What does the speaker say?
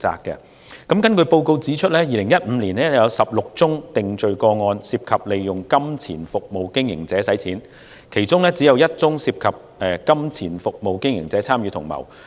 根據該報告指出 ，2015 年有16宗涉及利用金錢服務經營者洗錢的定罪個案，其中只有1宗涉及金錢服務經營者參與同謀。